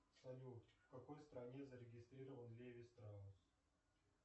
салют в какой стране зарегистрирован леви страусс